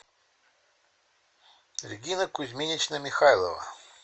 регина кузьминична михайлова